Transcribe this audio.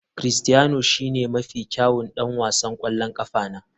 Critiano shine mafi kyawun ɗan wasan ƙwallon ƙafa na.